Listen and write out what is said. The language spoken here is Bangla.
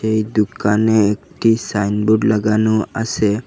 এই দুকানে একটি সাইন বোর্ড লাগানো আসে।